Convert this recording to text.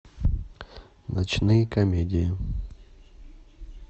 ночные комедии